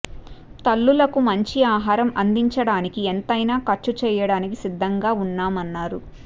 తల్లులకు మంచి ఆహారం అందించడానికి ఎంతైనా ఖర్చు చేయడానికి సిద్ధంగా ఉన్నామన్నారు